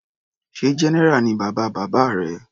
Sé general ni bàbá bàbá rẹ.